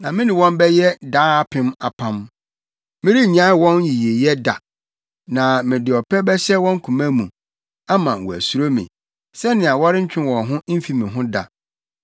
Na me ne wɔn bɛyɛ daapem apam: Merennyae wɔn yiyeyɛ da, na mede ɔpɛ bɛhyɛ wɔn koma mu, ama wɔasuro me, sɛnea wɔrentwe wɔn ho mfi me ho da.